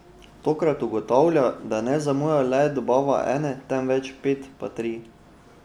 Tokrat ugotavlja, da ne zamuja le dobava ene, temveč pet patrij.